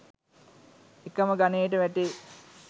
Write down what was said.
එකම ගණයට වැටේ